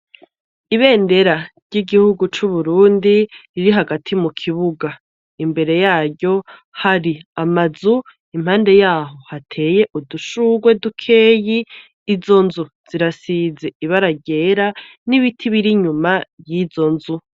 Ibendera ry'igihugu c'Uburundi riri hagati mukibuga, imbere yaryo hari amazu, impande y'aho hateye udushurwe dukeyi, izo nzu zirasize ibara ryera n'ibiti biri inyuma y'izo nzu.